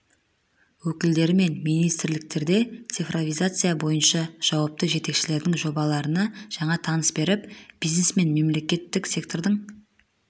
өкілдері мен министрліктерде цифровизация бойынша жауапты жетекшілердің жобаларына жаңа тыныс беріп бизнес пен мемлекеттік сектордың